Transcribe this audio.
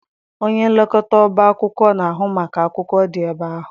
Onye nlekọta ọba akwụkwọ na-ahụ maka akwụkwọ dị ebe ahụ.